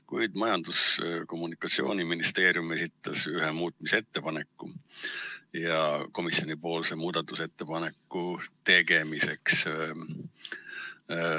Küll aga esitas Majandus- ja Kommunikatsiooniministeerium ühe ettepaneku komisjonipoolse muudatusettepaneku tegemiseks.